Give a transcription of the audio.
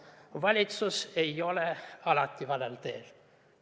Valitsus ei ole alati valel teel.